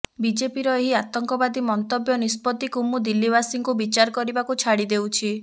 ବିଜେପିର ଏହି ଆତଙ୍କବାଦୀ ମନ୍ତବ୍ୟ ନିଷ୍ପତ୍ତିକୁ ମୁଁ ଦିଲ୍ଲୀବାସୀଙ୍କୁ ବିଚାର କରିବାକୁ ଛାଡ଼ି ଦେଉଛି